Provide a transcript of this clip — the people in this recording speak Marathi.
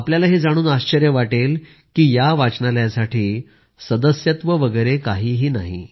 आपल्याला हे जाणून आश्चर्य वाटेल की या वाचनालयासाठी सदस्यत्व वगैरे काही नाही